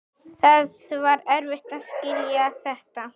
Það var erfitt að skilja þetta.